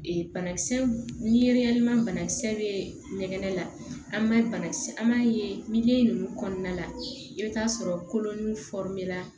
banakisɛ miiriyalima banakisɛ bɛ ngɛnɛ la an b'a bana kisɛ an b'a ye nunnu kɔnɔna la i bɛ taa sɔrɔ kolon